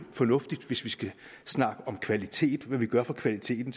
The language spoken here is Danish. fornuftigt hvis vi skal snakke om kvalitet altså hvad vi gør for kvaliteten